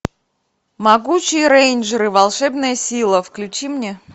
могучие рейнджеры волшебная сила включи мне